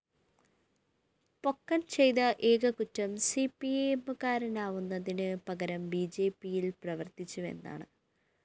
പൊക്കന്‍ ചെയ്ത ഏക കുറ്റം സിപിഎമ്മുകാരനാവുന്നതിന് പകരം ബിജെപിയില്‍ പ്രവര്‍ത്തിച്ചുവെന്നാണ്